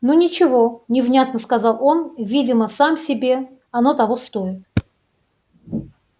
ну ничего невнятно сказал он видимо сам себе оно того стоит